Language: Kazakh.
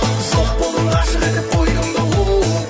жоқ болдың ғашық етіп қойдың да оу